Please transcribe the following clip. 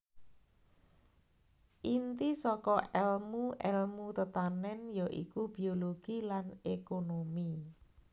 Inti saka èlmu èlmu tetanèn ya iku biologi lan ékonomi